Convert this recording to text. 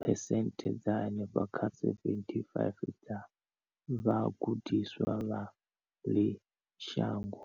phesenthe dza henefha kha 75 dza vhagudiswa vha ḽino shango.